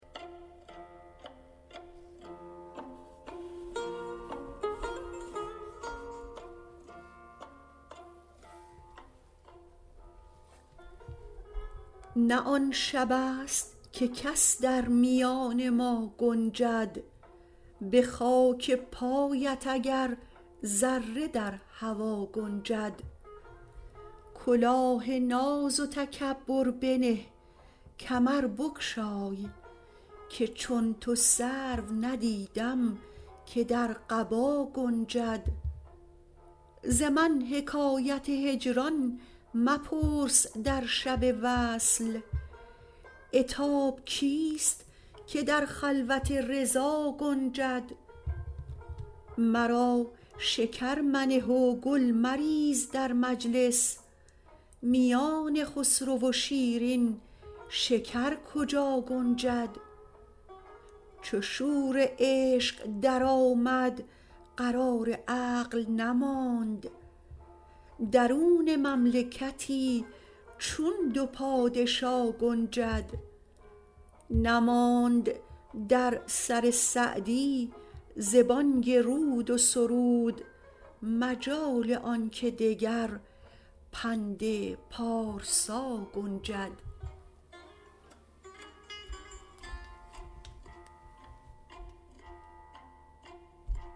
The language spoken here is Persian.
نه آن شبست که کس در میان ما گنجد به خاک پایت اگر ذره در هوا گنجد کلاه ناز و تکبر بنه کمر بگشای که چون تو سرو ندیدم که در قبا گنجد ز من حکایت هجران مپرس در شب وصل عتاب کیست که در خلوت رضا گنجد مرا شکر منه و گل مریز در مجلس میان خسرو و شیرین شکر کجا گنجد چو شور عشق درآمد قرار عقل نماند درون مملکتی چون دو پادشا گنجد نماند در سر سعدی ز بانگ رود و سرود مجال آن که دگر پند پارسا گنجد